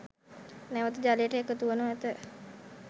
නැවත ජලයට එකතුවනු ඇත.